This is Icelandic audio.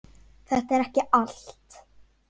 Þetta er ekki allt.